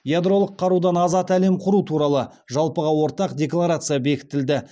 ядролық қарудан азат әлем құру туралы жалпыға ортақ декларация бекітілді